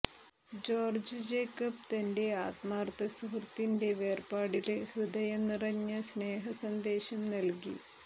George Jacob തന്റെ ആത്മാര്ത്ഥ സുഹൃത്തിന്റെ വേര്പാടില് ഹൃദയ നിറഞ്ഞ സ്നേഹ സന്ദേശം നല്കി